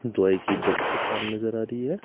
दवाई की दुकान नजर आ रही है।